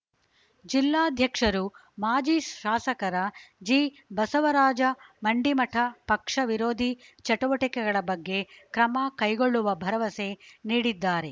ಜಿಲ್ಲಾಧ್ಯಕ್ಷರು ಮಾಜಿ ಶಾಸಕರ ಜಿಬಸವರಾಜ ಮಂಡಿಮಠ ಪಕ್ಷ ವಿರೋಧಿ ಚಟುವಟಿಕೆಗಳ ಬಗ್ಗೆ ಕ್ರಮ ಕೈಗೊಳ್ಳುವ ಭರವಸೆ ನೀಡಿದ್ದಾರೆ